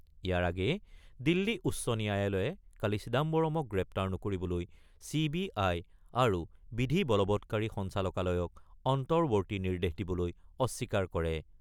ইয়াৰ আগেয়ে দিল্লী উচ্চ ন্যায়ালয়ে কালি চিদাম্বৰ্মক গ্ৰেপ্তাৰ নকৰিবলৈ চি বি আই আৰু বিধি বলৱৎকাৰী সঞ্চালকালয়ক অন্তৱৰ্তী নিৰ্দেশ দিবলৈ অস্বীকাৰ কৰে।